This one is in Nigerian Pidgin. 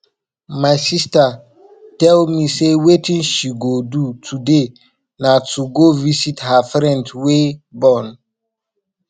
my sister tell me say wetin she go do today na to go visit her friend wey born